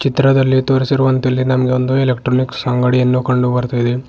ಇತ್ರದಲ್ಲಿ ತೋರಿಸಿರುವಂತೆ ಇಲ್ಲಿ ನಮಗೆ ಒಂದು ಎಲೆಕ್ಟ್ರಾನಿಕ್ಸ್ ಅಂಗಡಿಯನ್ನು ಕಂಡು ಬರ್ತ್ತಯಿದೆ.